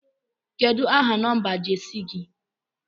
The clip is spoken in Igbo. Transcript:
Kedu aha nọmba Jesi gi?